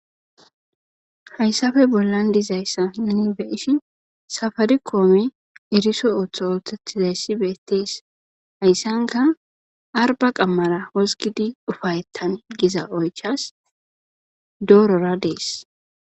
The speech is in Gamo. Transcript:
Haysappe bollan dizayasa nun beyishin safaricome erisonoso othetizays betes. Haysanika arba qamara wozigid ufayetane giza oychas doorora Des.